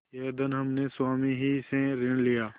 यह धन हमने स्वामी ही से ऋण लिया